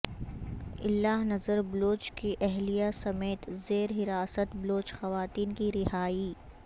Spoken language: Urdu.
اللہ نذر بلوچ کی اہلیہ سمیت زیر حراست بلوچ خواتین کی رہائی